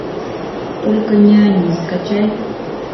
только не они скачай